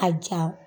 A ja